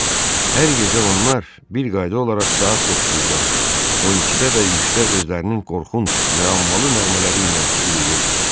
Hər gecə onlar bir qayda olaraq saat 9-da, 12-də və üçdə özlərinin qorxunc, müəmmalı nəğmələri ilə uluyurdular.